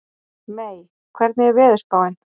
Mey, hvernig er veðurspáin?